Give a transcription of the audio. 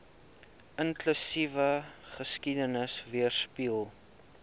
inklusiewe geskiedenis weerspieël